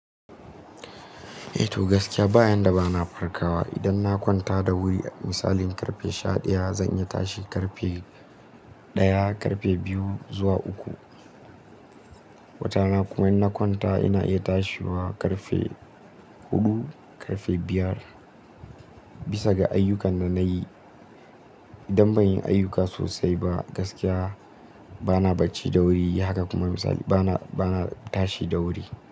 Eh to gaskiya bayan da bana farkawa idan na kwanta da wuri misalin ƙarfe sha ɗaya zan iya tashi ƙarfe ɗaya ƙarfe biyu zuwa uku. Watana kuma in na kwanta ina iya tashiwa ƙarfe huɗu ƙarfe biyar bisa ga ayyukan da na yi. Idan ban yi ayyuka sosai ba gaskiya bana bacci da wuri haka kuma misali bana, bana tashi da wuri.